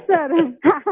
सीखा है सर हाँ